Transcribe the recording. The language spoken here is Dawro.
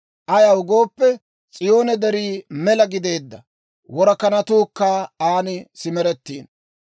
Ayaw gooppe, S'iyoone Derii mela gideedda; worakanatuukka an simeretiino.